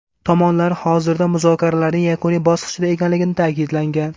Tomonlar hozirda muzokaralarning yakuniy bosqichida ekanligi ta’kidlangan.